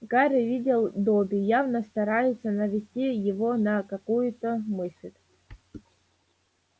гарри видел добби явно старается навести его на какую-то мысль